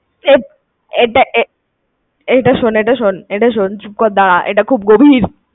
এ~এটা শোন ~ এটা শোন~এটা শোন, চুপ করে দাঁড়া। এটা খুব গভীর